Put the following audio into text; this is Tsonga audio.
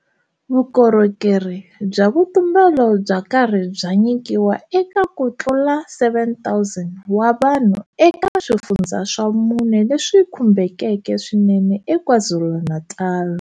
Vukorhokerhi bya vutumbelo bya karhi bya nyikiwa eka ku tlula 7,000 wa vanhu eka swifundza swa mune leswi khumbekeke swinene eKwaZulu-Natal.